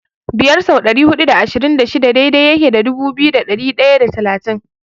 Biyar sau dari hudu da ashirin da shida daidai yake da dubu biyu da ɗari ɗaya da talatin.